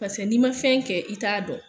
Pasɛ n'i ma fɛn kɛ i t'a dɔn